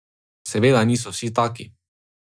Seveda niso vsi taki.